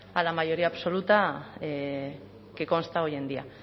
a la mayoría absoluta que consta hoy en día